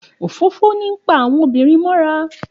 Òfófó ń pa àwọn obìnrin mọ́ra.